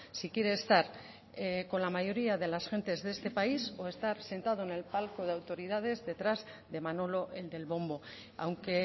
si quiere estar con la mayoría de las gentes de este país o estar sentado en el palco de autoridades detrás de manolo el del bombo aunque